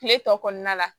Kile tɔ kɔnɔna la